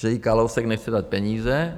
- že jí Kalousek nechce dát peníze.